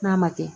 N'a ma kɛ